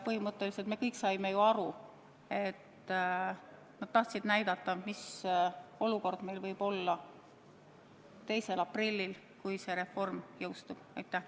Põhimõtteliselt me kõik saime ju aru, et nad tahtsid näidata, mis olukord meil võib olla 2. aprillil, kui see reform on jõustunud.